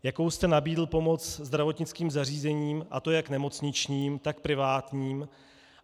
Jakou jste nabídl pomoc zdravotnickým zařízením, a to jak nemocničním, tak privátním?